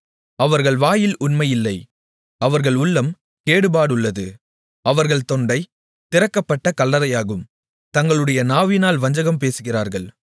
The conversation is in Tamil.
அவர்கள் வாயில் உண்மை இல்லை அவர்கள் உள்ளம் கேடுபாடுள்ளது அவர்கள் தொண்டை திறக்கப்பட்ட கல்லறையாகும் தங்களுடைய நாவினால் வஞ்சகம் பேசுகிறார்கள்